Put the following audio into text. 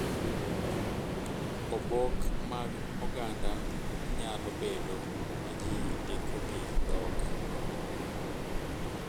Oboke mag oganda nyalo bedo ma ji ndiko gi dhok.